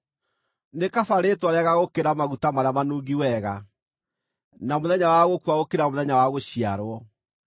Nĩ kaba rĩĩtwa rĩega gũkĩra maguta marĩa manungi wega, na mũthenya wa gũkua gũkĩra mũthenya wa gũciarwo.